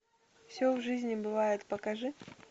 все в жизни бывает покажи